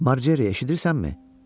Marcri eşidirsənmi?